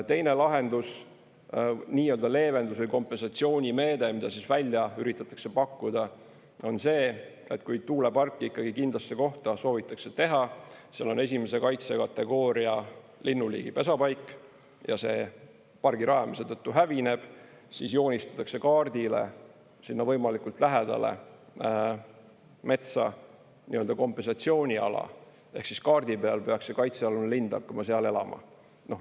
Teine lahendus, nii-öelda leevendus või kompensatsioonimeede, mida välja üritatakse pakkuda, on see, et kui tuulepark ikkagi kindlasse kohta soovitakse teha, seal on I kaitsekategooria linnuliigi pesapaik ja see pargi rajamise tõttu hävineb, siis joonistatakse kaardile sinna võimalikult lähedale metsa kompensatsiooniala ehk kaardi peal peaks see kaitsealune lind hakkama seal elama.